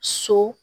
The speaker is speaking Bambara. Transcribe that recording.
So